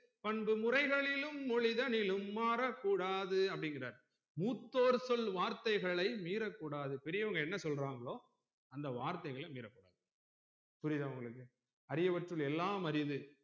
பண்பு முறைகளிலும் மொழிதலிலும் மாறக்கூடாது அப்புடிங்குராறு மூத்தோர் சொல் வார்த்தைகளை மீற கூடாது பெரியவங்க என்ன சொல்றாங்களோ அந்த வார்த்தைகள மீற கூடாது புரிதா உங்களுக்கு அரியவற்றுல் எல்லாம் அறிது